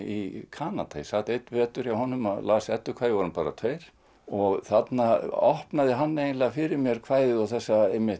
í Kanada ég sat einn vetur hjá honum og las eddukvæði við vorum bara tveir og þarna opnaði hann eiginlega fyrir mér kvæðið og þessa